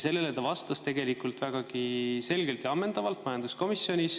Sellele ta vastas majanduskomisjonis vägagi selgelt ja ammendavalt.